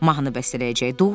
Mahnı bəstələyəcəkdir.